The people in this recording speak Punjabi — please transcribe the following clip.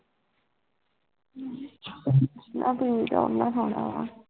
ਨ੍ਹਾ ਕ ਤਾ ਉਹੀ ਸੋਨਾ ਵਾ